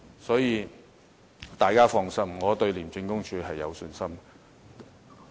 所以，大家放心，我對廉署有信心。